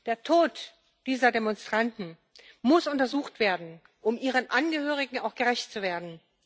Der Tod dieser Demonstranten muss untersucht werden, um ihren Angehörigen auch gerecht zu werden.